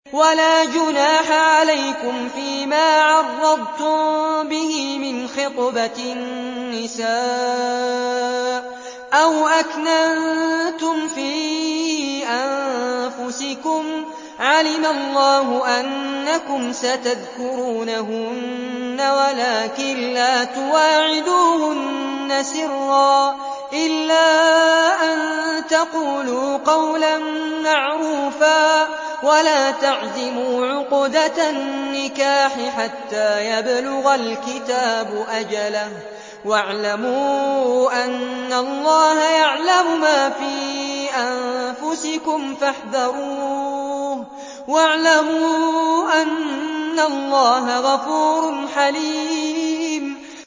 وَلَا جُنَاحَ عَلَيْكُمْ فِيمَا عَرَّضْتُم بِهِ مِنْ خِطْبَةِ النِّسَاءِ أَوْ أَكْنَنتُمْ فِي أَنفُسِكُمْ ۚ عَلِمَ اللَّهُ أَنَّكُمْ سَتَذْكُرُونَهُنَّ وَلَٰكِن لَّا تُوَاعِدُوهُنَّ سِرًّا إِلَّا أَن تَقُولُوا قَوْلًا مَّعْرُوفًا ۚ وَلَا تَعْزِمُوا عُقْدَةَ النِّكَاحِ حَتَّىٰ يَبْلُغَ الْكِتَابُ أَجَلَهُ ۚ وَاعْلَمُوا أَنَّ اللَّهَ يَعْلَمُ مَا فِي أَنفُسِكُمْ فَاحْذَرُوهُ ۚ وَاعْلَمُوا أَنَّ اللَّهَ غَفُورٌ حَلِيمٌ